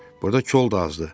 Burda kol da azdır.